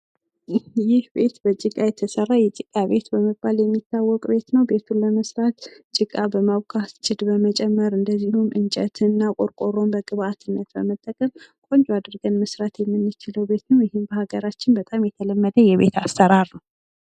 ይህ ቤት ከጭቃ የተሰራ የጭቃ ቤት በመባል የሚታወቀ ቤት ነው ።ቤቱን ለመስራት ጭቃ በማቡካት ጭድ በመጨመር እንዲሁም እንጨትን እና ቆርቆሮን በግብዐትነት በመጠቀም ቆንጆ አድርጎ መስራት የምንችለው ቤት ነው ። ይህም በሃገራችን በብዛት የተለመደ የቤት አሰራር ነው ።